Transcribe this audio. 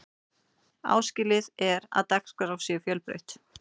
áskilið er að dagskrá sé fjölbreytt